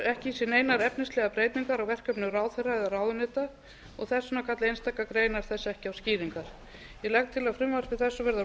ekki sér neinar efnislegar breytingar á verkefnum ráðherra eða ráðuneyta þess vegna kalla einstakar greinar þess ekki á skýringar ég legg til að frumvarpi þessu verði að